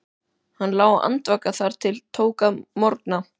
Hann lá andvaka þar til tók að morgna.